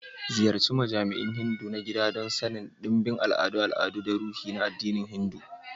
Ziyarci majami'u Hindu na gida don sanin ɗimbin al'adun al'adu da ruhi na addinin Hindu.